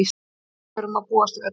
Leikstjóri má búast við öllu.